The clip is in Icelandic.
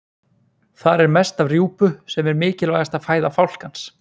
Þar er mest af rjúpu sem er mikilvægasta fæða fálkans.